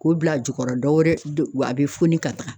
K'u bila a jukɔrɔ dɔwɛrɛ a bɛ foni ka taa.